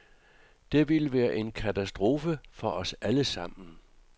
Det ville være en katastrofe for os allesammen.